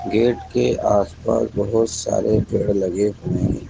gate के आस पास बहुत सारे पेड़ लगे हुए --